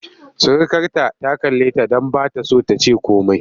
Surukarta ta kalleta don ba ta so ta ce komai.